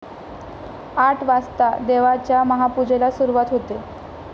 आठ वाजता देवाच्या महापूजेला सुरुवात होते.